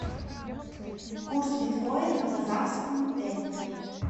курс биткоина к казахскому тенге